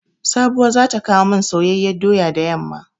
Sabuwa za ta kowo mani soyayyan doya da yamma.